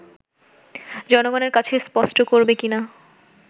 জনগনের কাছে স্পষ্ট করবে কিনা